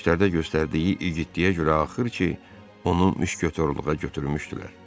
Döyüşlərdə göstərdiyi igidliyə görə axır ki, onu müşkətorluğa götürmüşdülər.